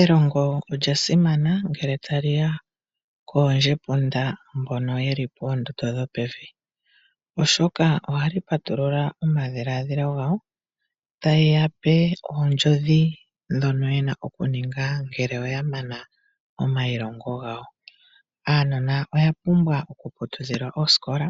Elongo olya simana ngele taliya koondjepunda mbono yeli poondondo dhopevi, oshoka ohali patulula omadhilaadhilo gawo, taye yape oondjodhi ndhono yena okuninga ngele oya mana omailongo gawo. Aanona oya pumbwa oku putudhilwa oosikola